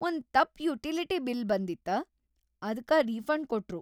ಒಂದ್‌ ತಪ್‌ utility bill ಬಂದಿತ್ತ‌, ಅದ್ಕ ರೀಫಂಡ್‌ ಕೊಟ್ರು.